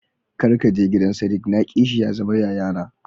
Kar kaje gidan sadiq na ki shi ya zama yayana.